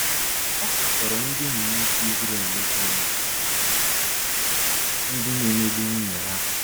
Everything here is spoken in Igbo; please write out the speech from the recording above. Ọ katọrọ ndị ụmụnwoke Izrel bụ́ ndị na emegbu nwunye ha.